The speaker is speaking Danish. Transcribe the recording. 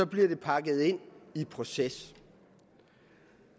bliver det pakket ind i proces